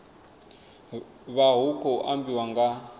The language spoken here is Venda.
vha hu khou ambiwa nga